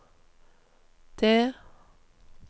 det